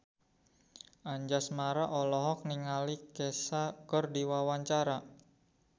Anjasmara olohok ningali Kesha keur diwawancara